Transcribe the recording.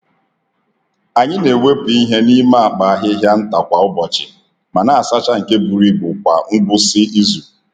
Anyị na-ewepụ ihe n’ime akpa ahịhịa nta kwa ụbọchị, ma na-asacha nke buru ibu kwa ngwụsị izu.